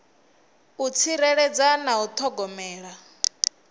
u tsireledza na u thogomela